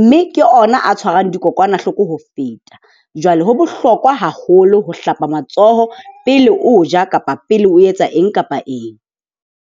mme ke ona a tshwarang dikokwanahloko ho feta. Jwale ho bohlokwa haholo ho hlapa matsoho pele o ja kapa pele o etsa eng kapa eng.